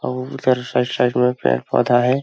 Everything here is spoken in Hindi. अउ उधर साइड साइड में पेड़-पौधा है।